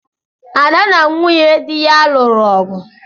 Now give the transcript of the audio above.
Ada na nwunye di ya lụrụ ọgu